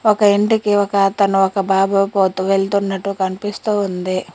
ఒక ఇంటికి ఒక తను ఒక బాబుకి పోతూ వెళ్తున్నట్టు కనిపిస్తోంది.